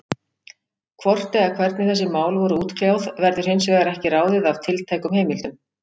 Hvort eða hvernig þessi mál voru útkljáð, verður hins vegar ekki ráðið af tiltækum heimildum.